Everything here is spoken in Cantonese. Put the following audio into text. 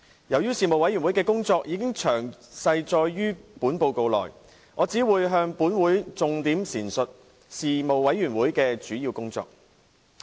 由於事務委員會的工作已詳細載述在報告內，我只會向本會重點闡述事務委員會的主要工作。